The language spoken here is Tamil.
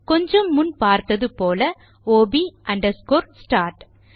கொஞ்சம் முன் பார்த்தது போல ஒப் அண்டர்ஸ்கோர் ஸ்டார்ட்